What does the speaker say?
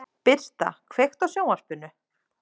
Birta, kveiktu á sjónvarpinu.